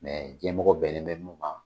Mɛ diɲɛmɔgɔ bɛnlen bɛ minnu man.